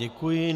Děkuji.